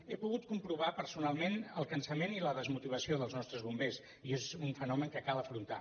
he pogut comprovar personalment el cansament i la desmotivació dels nostres bombers i és un fenomen que cal afrontar